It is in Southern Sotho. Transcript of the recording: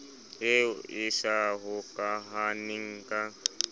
eo e sa hokahaneng ka